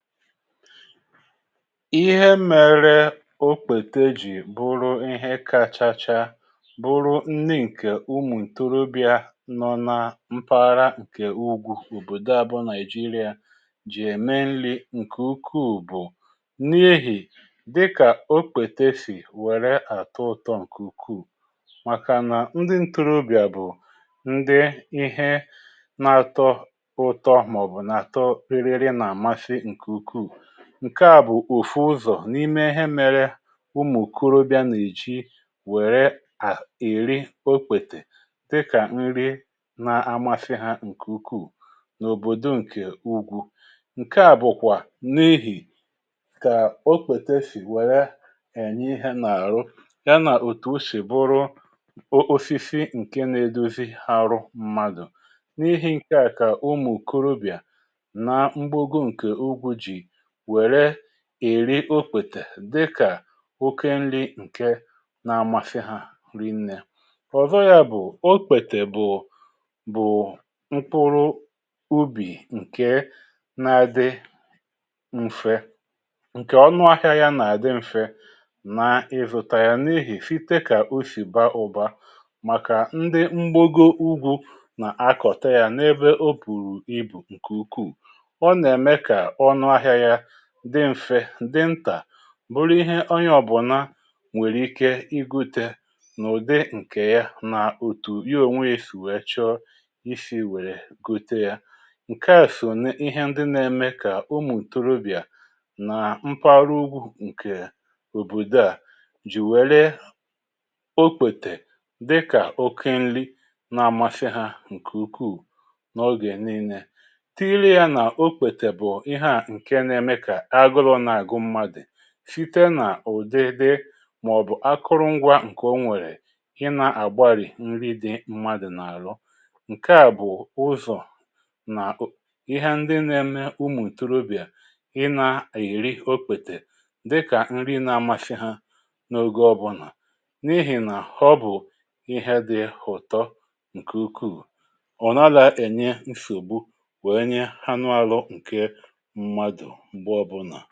ihe mere okpete ji bụrụ ihe kachacha bụrụ nni nke umu ntorobịa nọ na mpaghara nke ugwu obodó abụ nigeria ji eme nli nke ukwuu bụ n’ihì dịkà okpete sì were atọ ụtọ nke ukwuu màkà nà ndi ntorobịa bụ ndi ihe na-atọ ụtọ màọbụ̀ na-atọ ririri na-amȧsị̇ nke ukwú ǹke à bụ̀ ùfu ụzọ̀ n’ime ihe mere ụmụ̀ okóróbịà nà-èji wère à ìri okpètè dịkà nri na-amȧsị̇ hȧ ǹkè ukwù n’òbòdò ǹkè ugwu ǹke à bụ̀kwà n’ihì kà okpètè sì wère ènye ihe nà-àrụ yȧ nà òtù osí buru o osisi ǹke na-edozi arụ mmadụ̀ n’ihi̇ ǹke à kà ụmụ̀ okóróbịà na mgbago nke ugwu gi wére eri okwètè dịkà oke nri̇ ǹke na amasị hȧ nri nne ọ̀zọ yȧ bụ̀ okpètè bụ̀ bụ̀ mkpụrụ ubì ǹke na-adị mfe ǹkè ọnụahịa yȧ nà-àdị mfe n’ịzụ̇tȧȧ yà n’ihì site kà o sì baa ụ̀ba màkà ndị mgbogo ugwù nà-akọ̀tà yà n’ebe obụ̀rụ̀ ibù ǹkè ukwuù o na eme ka onu ahia ya dị mfe di ntà bụrụ ihe onye ọbụ̀na nwèrè ike igute n’ụ̀dị ǹkè ya nà òtù ya onwė ya sì weè chọọ isi̇ wèrè gote yȧ ǹke à sò na ihe ndị na-eme kà ụmụ̀ ntorobìa nà mpaghara ugwu ǹkè òbòdò à jì wère okpètè dịkà oke nri na-àmasị̇ ha ǹkè ukwuù n’ọgè niilė tinyere yȧ nà okpètè bụ̀ ihe à nke na eme ka aguru na agú mmadu sité n’ụ̀dịdị màọ̀bụ̀ akụrụngwa ǹkè o nwèrè ị nà-àgbarì nri di mmadụ̀ n’àlụ ǹkèa bụ̀ ụzọ̀ na ịhȧ ndị na ėmė ụmụ̀ ntorobìà ị nà-èri okpètè dịkà nri na-amȧshị hȧ n’ogė ọbụlà n’ihì nà àhọ bụ̀ ịhȧ di ụ̀tọ ǹkè ukwuù o na gi enye nsogbu wee nye anu ahu mmadu mgbe obuna